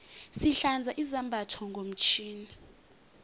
sihlanza izambatho ngomtjhini